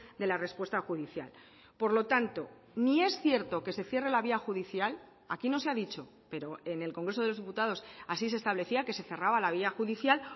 de la respuesta judicial por lo tanto ni es cierto que se cierre la vía judicial aquí no se ha dicho pero en el congreso de los diputados así se establecía que se cerraba la vía judicial